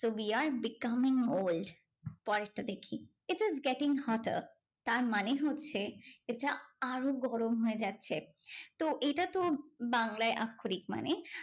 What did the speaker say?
We are becoming old. পরেরটা দেখি, it is getting hotter. তার মানে হচ্ছে, এটা আরো গরম হয়ে যাচ্ছে। তো এইটা তো বাংলায় আক্ষরিক মানে।